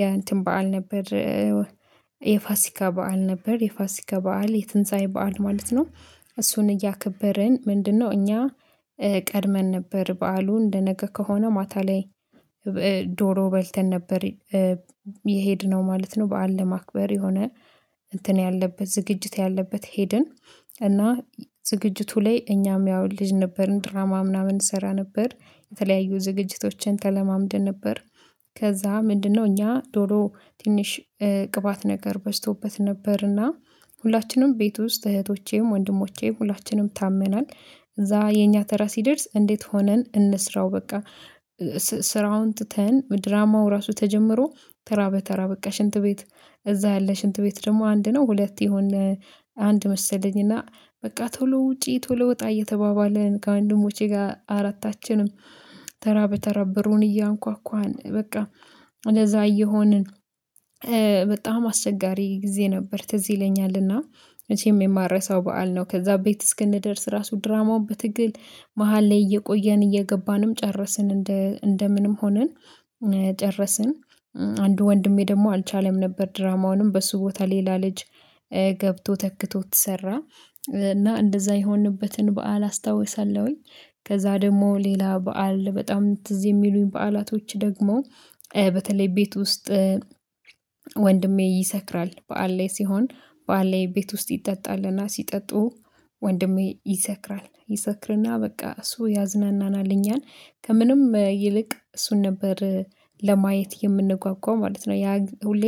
የእንትን በዓል ነበር። የፋሲካ በዓል ነበር የፋሲካ በዓል የትንሳኤ በዓል ማለት ነው። እሱን እያከበርን ምንድነው እኛ ቀድመን ነበር በዓሉ እንደነገ ከሆነ ማታ ላይ ዶሮ በልተን ነበር። የሄድነው ማለት ነው በዓል ለማክበር የሆነ እንትን ያለበት ዝግጅት ያለበት ሄድን። እና ዝግጅቱ ላይ እኛም ያው ልጅ ነበርን ድራማ ምናምን እንሰራ ነበር የተለያዩ ዝግጅቶችን ተለማምደን ነበር። ከዛ ምንድነው እኛ ዶሮ ትንሽ ቅባት ነገር በዝቶበት ነበርና ሁላችንም ቤት ውስጥ እህቶቼም ወንድሞቼም ሁላችንም ታመናል እዛ የኛ ተራ ሲደርስ እንዴት ሆነን እንስራው በቃ። ስራውን ትተን ድራማው ራሱ ተጀምሮ ተራ በተራ በቃ ሽንት ቤት እዛ ያለ ሽንት ቤት ደግሞ አንድ ነው ሁለት የሆነ አንድ መሰለኝ እና በቃ ቶሎ ውጪ ቶሎ ወጣ እየተባባለን ከወንድሞቼ ጋር አራታችንም ተራ በተራ በሩን እያንኳኳን በቃ እንደዛ እየሆንን። በጣም አስቸጋሪ ጊዜ ነበር ትዝ ይለኛልና መቸም የማረሳው በዓል ነው። ከዛ ቤት እስክንደርስ ራሱ ድራማውን በትግል መሃል ላይ እየቆየን እየገባንም ጨረስን እንደ እንደምንም ሆነን ጨረስን። አንድ ወንድሜ ደግሞ አልቻለም ነበር ድራማውንም በሱ ቦታ ሌላ ልጅ ገብቶ ተክቶት ሰራ። እና እንደዛ የሆንበትን በዓል አስታውሳለሁኝ። ከዛ ደግሞ ሌላ በዓል በጣም ትዝ የሚሉኝ በዓላቶች ደግሞ በተለይ ቤት ውስጥ ወንድሜ ይሰክራል በዓል ላይ ሲሆን በዓል ላይ ቤት ውስጥ ይጠጣልና። ሲጠጡ ወንድሜ ይሰክራል ይሰክርና በቃ እሱ ያዝናናል እኛን ከምንም ይልቅ እሱን ነበር ለማየት የምንጓጓ ማለት ነው። ያ ሁሌ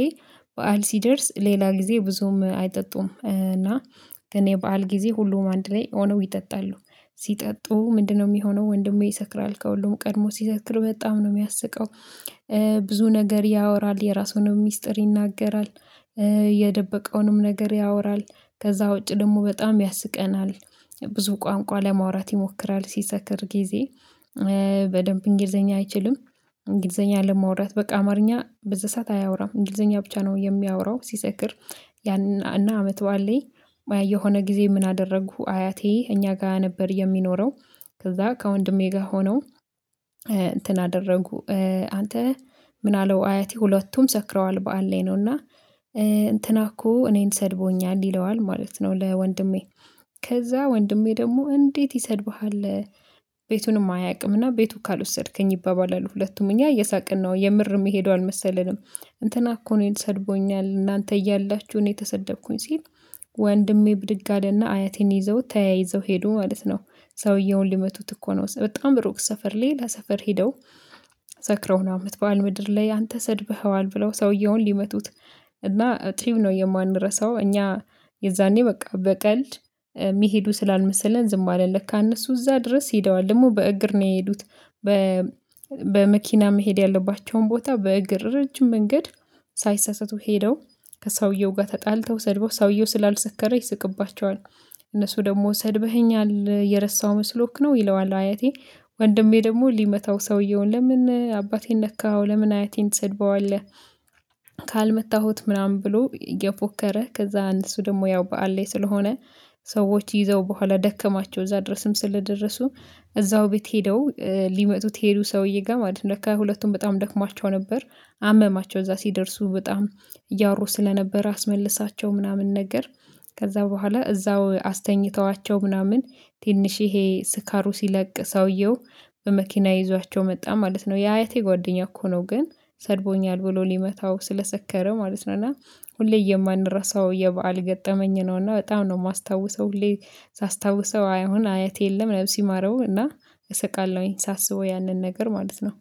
በዓል ሲደርስ ሌላ ጊዜ ብዙም አይጠጡም እና እና የዓል ጊዜ ሁሉም አንድ ላይ ሆነው ይጠጣሉ ሲጠጡ ምንድነው የሚሆነው ወንድሜ ይሰክራል ከሁሉም ቀድሞ ሲሰክር በጣም ነው የሚያስቀው። ብዙ ነገር ያወራል የራሱን ሚስጥር ይናገራል። የደበቀውንም ነገር ያወራል። ከዛ ውጪ ደግሞ በጣም ያስቀናል። ብዙ ቋንቋ ለማውራት ይሞክራል ሲሰክር ጊዜ በደንብ እንግሊዘኛ አይችልም። እንግሊዘኛ ለማውራት በቃ አማርኛ በዛ ሰዓት አያወራም እንግሊዘኛ ብቻ ነው የሚያወራው ሲሰክር። ያንን እና አመት በዓል ላይ የሆነ ጊዜ ምን አደረግሁ አያቴ እኛ ጋር ነበር የሚኖረው። ከዛ ከወንድሜ ጋር ሆነው እንትን አደረጉ አንተ ምን አለው አያቴ ሁለቱም ሰክረዋል በዓል ላይ ነውና። እንትና እኮ እኔን ሰድቦኛል ይለዋል ማለት ነው። ለወንድሜ ከዛ ወንድሜ ደግሞ እንዴት ይሰድብሃል? ቤቱንም አያውቅምና ቤቱ ካልወሰድከኝ ይባባላሉ ሁለቱም እኛ እየሳቅን ነው የምር የሚሄዱ አልመሰለንም እንትና እኮ እኔን ሰድቦኛል እናንተ እያላችሁ እኔ ተሰደብኩኝ ሲል ወንድሜ ብድግ አለና አያቴን ይዘው ተያይዘው ሄዱ ማለት ነው። ሰውየውን ሊመቱት እኮ ነው በጣም ሩቅ ሰፈር ሌላ ሰፈር ሄደው ሰክረው ነው አመት በዓል ምድር ላይ አንተ ሰድብኸዋል ብለው ሰውየውን ሊመቱት። እና አቲቭ ነው የማንረሳው እኛ የዛኔ በቃ በቀልድ ሚሄዱ ስላልመሰለን ዝም አልን ለካ እነሱ እዛ ድረስ ሄደዋል ደግሞ በእግር ነው የሄዱት። በ በመኪና መሄድ ያለባቸውን ቦታ በእግር ረጅም መንገድ ሳይሳሳቱ ሄደው ከሰውየው ጋር ተጣልተው ሰድበው ሰውየው ስላልሰከረ ይስቅባቸዋል። እነሱ ደግሞ ሰድበኸኛል የረሳው መስሎክ ነው ይለዋል አያቴ ወንድሜ ደግሞ ሊመታው ሰውየውን ለምን አባቴን ነካኸው ለምን አያቴን ትሰድበዋለህ? ካልመታሁት ምናምን ብሎ እየፎከረ ከዛ እነሱ ደግሞ ያው በዓል ላይ ስለሆነ ሰዎች ይዘው በኋላ ደከማቸው እዛ ድረስም ስለደረሱ እዛው ቤት ሄደው ሊመቱት የሄደው ሰውዬ ጋር ማለት ነው ለካ ሁለቱም በጣም ደክሟቸው ነበር። አመማቸው እዛ ሲደርሱ በጣም እያወሩ ስለነበረ አስመልሳቸው ምናምን ነገር ከዛ በኋላ እዛው አስተኝተዋቸው ምናምን ትንሽ ይሄ ስካሩ ሲለቅ ሰውየው በመኪና ይዟቸው መጣ ማለት ነው። የአያቴ ጓደኛ እኮ ነው ግን ሰድቦኛል ብሎ ሊመታው ስለሰከረ ማለት ነው። እና ሁሌ የማንረሳው የበአል ገጠመኝ ነው። እና በጣም ነው የማስታውሰው ሁሌ ሳስታውሰው አሁን አያቴ የለም። ነብስ ይማረው እና እሰቃለሁኝ ሳስበው ያንን ነገር ማለት ነው